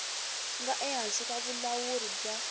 nga ehansi ka vulawuri bya